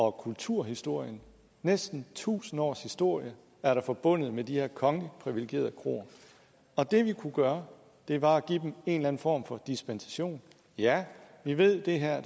og kulturhistorien næsten tusind års historie er forbundet med de her kongeligt privilegerede kroer og det vi kunne gøre var at give dem en eller anden form for dispensation ja vi ved at det her